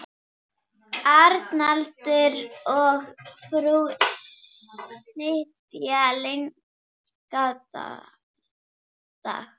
Arnaldur og frú sitja lengi dags.